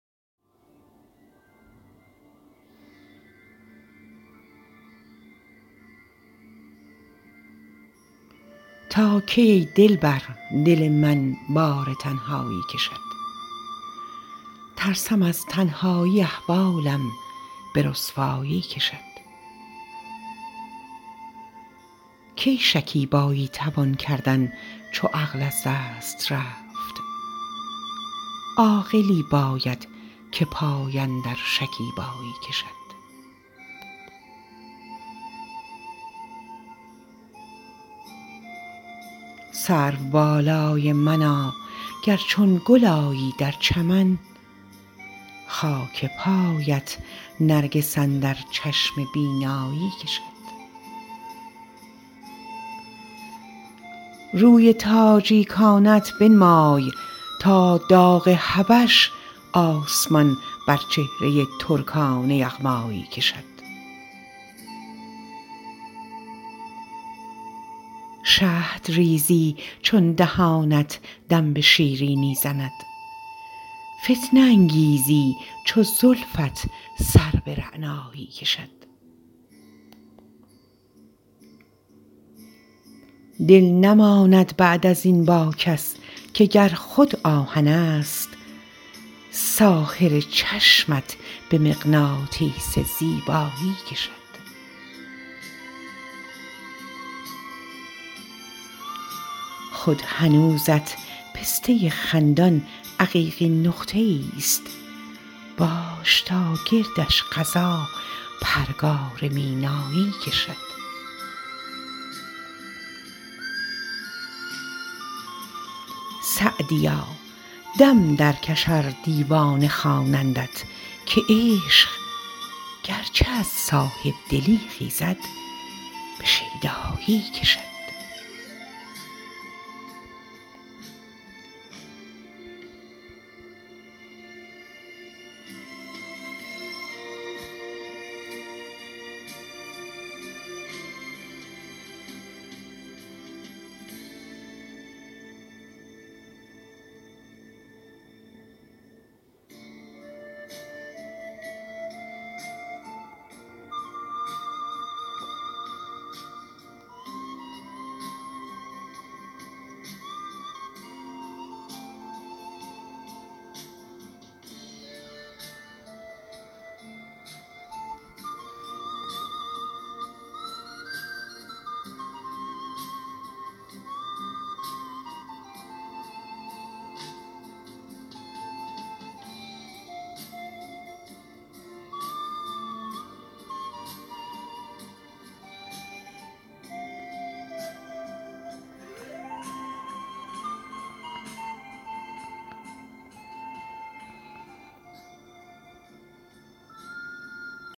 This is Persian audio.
تا کی ای دلبر دل من بار تنهایی کشد ترسم از تنهایی احوالم به رسوایی کشد کی شکیبایی توان کردن چو عقل از دست رفت عاقلی باید که پای اندر شکیبایی کشد سروبالای منا گر چون گل آیی در چمن خاک پایت نرگس اندر چشم بینایی کشد روی تاجیکانه ات بنمای تا داغ حبش آسمان بر چهره ترکان یغمایی کشد شهد ریزی چون دهانت دم به شیرینی زند فتنه انگیزی چو زلفت سر به رعنایی کشد دل نماند بعد از این با کس که گر خود آهنست ساحر چشمت به مغناطیس زیبایی کشد خود هنوزت پسته خندان عقیقین نقطه ایست باش تا گردش قضا پرگار مینایی کشد سعدیا دم درکش ار دیوانه خوانندت که عشق گرچه از صاحب دلی خیزد به شیدایی کشد